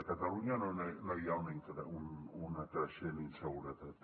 a catalunya no hi ha una creixent inseguretat